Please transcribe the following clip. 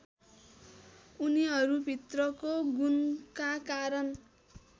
उनीहरूभित्रको गुणका कारण